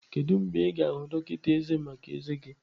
Kedu mgbe ị ga-ahụ dọkịta ezé maka ezé gị?